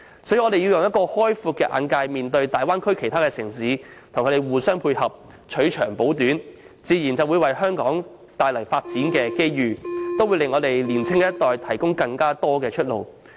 所以，我們應以開闊眼界面對大灣區及其他城市的發展，互相配合，取長補短，這自然會為香港帶來發展機遇，也會為年青一代提供更多出路。